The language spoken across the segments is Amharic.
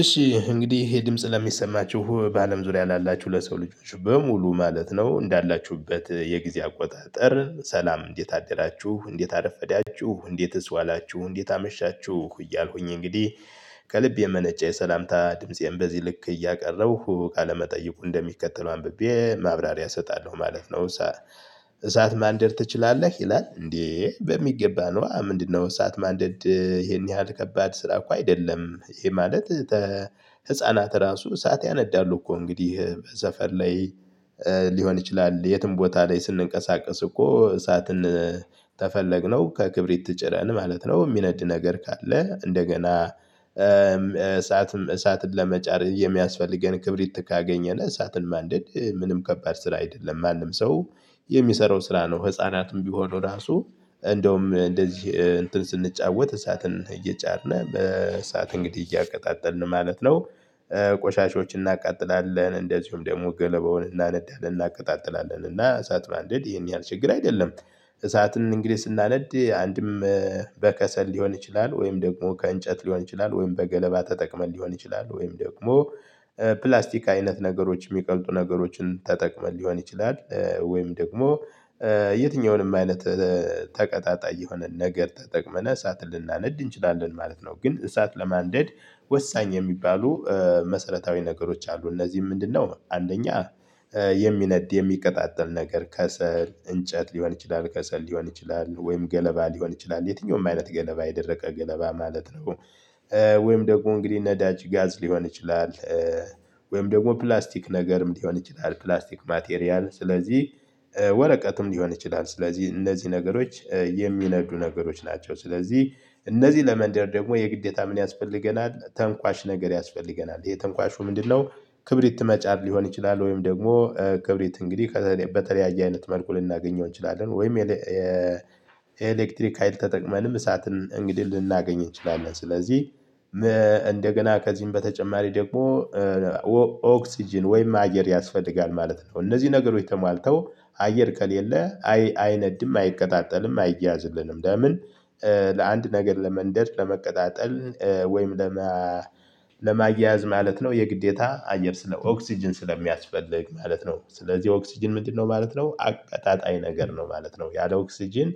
እሺ እንግዲህ ይሄ ድምጽ ለሚሰማችሁ በአለም ዙሪያ ላላችሁ ለሰው ልጆች በሙሉ ማለት ነው እንዳላችሁበት የጊዜ አቆጣጠር ሰላም እንዴት አደራችሁ እንዴት አረፈዳችሁ እንዴትስ ዋላችሁ እንዴት አመሻችሁ እያልኩኝ እንግዲህ ከልብ የመነጨ የሰላምታ ድምፄን በዚህ ልክ እያቀረብኩ ቃለመጠየቁ እንደሚከተለው አንብቤ ማብራሪያ እሰጣለሁ ማለት ነው። እሳት ማንደር ትችላለህ ይላል እንዴ? በሚገባ ነው። ምንድነው? እሳት ማደድ ይሄን ያህል ከባድ ስራ እኮ አይደለም። ይሄ ማለት። ህፃናት ራሱ እሳት ያነዳሉ እኮ እንግዲህ በሰፈር ላይ። ሊሆን ይችላል የትም ቦታ ላይ ስንቀሳቀስ እኮ እሳትን። ተፈለግነው ከክብሪት ጭረን ማለት ነው። ሚነድ ነገር ካለ እንደገና እሳትም እሳትን ለመጫር የሚያስፈልገን ክብሪት ካገኘን እሳትን ማንደድ ምንም ከባድ ስራ አይደለም። ማንም ሰው የሚሰራው ስራ ነው። ህፃናትም ቢሆኑ ራሱ እንደውም እንደዚህ እንትን ስንጫወት እሳትን እየጫርን በእሳት እንግዲህ እያቀጣጠልን ማለት ነው። ቆሻሻዎችን እናቃጥላለን እንደዚሁም ደግሞ ገለባውን እናነዳለን እናቀጣጥላለን እና እሳት ባንደድ ይሄን ያህል ችግር አይደለም። እሳትን እንግዲህ ስናነድ አንድም በከሰል ሊሆን ይችላል ወይም ደግሞ ከእንጨት ሊሆን ይችላል ወይም በገለባ ተጠቅመን ሊሆን ይችላል ወይም ደግሞ ፕላስቲክ አይነት ነገሮች ሚቀልጡ ነገሮችን ተጠቅመን ሊሆን ይችላል ወይም ደግሞ የትኛውንም አይነት ተቀጣጣይ የሆነን ነገር ተጠቅመን እሳትን ልናነድ እንችላለን ማለት ነው። ግን እሳት ለማንደድ ወሳኝ የሚባሉ መሰረታዊ ነገሮች አሉ እነዚህም ምንድነው? አንደኛ የሚነድ የሚቀጣጠል ነገር ከሰል እንጨት ሊሆን ይችላል ከሰል ሊሆን ይችላል ወይም ገለባ ሊሆን ይችላል የትኛውም አይነት ገለባ የደረቀ ገለባ ማለት ነው። ወይም ደግሞ እንግዲህ ነዳጅ ጋዝ ሊሆን ይችላል። ወይም ደግሞ ፕላስቲክ ነገርም ሊሆን ይችላል። ፕላስቲክ ማቴሪያል ስለዚህ ወረቀትም ሊሆን ይችላል ስለዚህ እነዚህ ነገሮች የሚነዱ ነገሮች ናቸው። ስለዚህ እነዚህ ለመንደር ደግሞ የግዴታ ምን ያስፈልገናል ተንኳሽ ነገር ያስፈልገናል የተንኳሽው ምንድነው? ክብሪት መጫድ ሊሆን ይችላል ወይም ደግሞ ክብሪት እንግዲህ ከዛ በተለያየ አይነት መልኩ ልናገኘው እንችላለን። ወይም የኤሌክትሪክ ሀይል ተጠቅመንም እሳትን እንግዲህ ልናገኝ እንችላለን። ስለዚህ እንደገና ከዚህም በተጨማሪ ደግሞ ኦክስጅን ወይም አየር ያስፈልጋል ማለት ነው። እነዚህ ነገሮች ተሟልተው አየር ከለሌ አይነድም አይቀጣጠልም አይያዝልንም ለምን? ለአንድ ነገር ለመንደር ለመቀጣጠል ወይም ለማያያዝ ማለት ነው። የግዴታ አየር ስለ ኦክስጅን ስለሚያስፈልግ ማለት ነው። ስለዚህ ኦክስጅን ምንድነው ማለት ነው? አቀጣጣይ ነገር ነው ማለት ነው። ያለ ኦክስጅን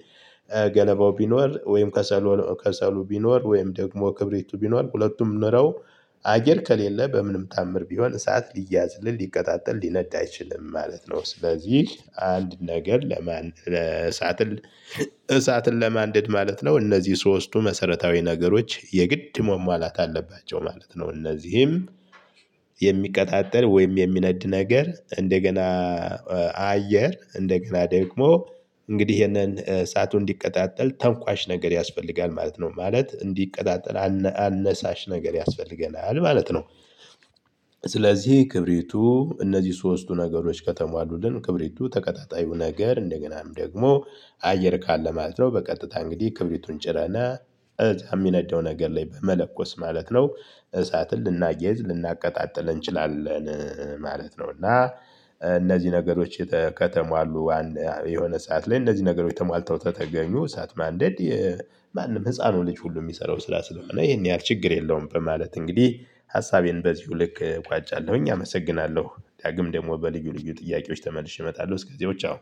ገለባው ቢኖር ወይም ከሰሉ ከሰሉ ቢኖር ወይም ደግሞ ክብሪቱ ቢኖር ሁለቱም ኖረው አየር ከሌለ በምንም ታምር ቢሆን እሳት ሊያዝልል ሊቀጣጠል ሊነጣ አይችልም ማለት ነው። ስለዚህ አንድ ነገር ለማን ለእሳት እሳትን ለማንደድ ማለት ነው እነዚህ ሶስቱ መሰረታዊ ነገሮች የግድ መሟላት አለባቸው ማለት ነው። እነዚህም የሚቀጣጠል ወይም የሚነድ ነገር እንደገና አየር እንደገና ደግሞ እንግዲህ ይሄንን ሰዓቱ እንዲቀጣጠል ተንኳሽ ነገር ያስፈልጋል ማለት ነው። ማለት እንዲቀጣጠል አነሳሽ ነገር ያስፈልገናል ማለት ነው። ስለዚህ ክብሪቱ እነዚህ ሶስቱ ነገሮች ከተማ አሉልን ክብሪቱ ተቀጣጣዩ ነገር እንደገናም ደግሞ አየር ካለ ማለት ነው። በቀጥታ እንግዲህ ክብሪቱን ጭረን እዛ ሚነደው ነገር ላይ በመለኮስ ማለት ነው። እሳትን ልናያይዝ ልናቀጣጥል እንችላለን ማለት ነው። እና እነዚህ ነገሮች ከተማ አሉ። የሆነ ሰዓት ላይ እነዚህ ነገሮች ተሟልተው ተተገኙ እሳት ማንደድ የማንም ህፃኑ ልጅ ሁሉ የሚሰራው ስላስለሆነ ይሄን ያህል ችግር የለውም። በማለት እንግዲህ ሀሳቤን በዚሁ ልክ ቋጫለሁኝ አመሰግናለሁ። ዳግም ደግሞ በልዩ ልዩ ጥያቄዎች ተመልሼ እመጣለሁ እስከዚያው ቻው።